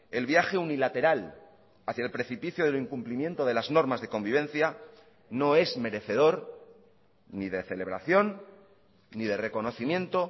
el viaje unilateral hacia el precipicio del incumplimiento de las normas de convivencia no es merecedor ni de celebración ni de reconocimiento